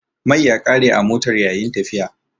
Mai ya kare a motan yayi'n tafiya.